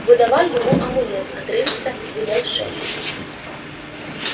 выдавай ему амулет отрывисто велел шеф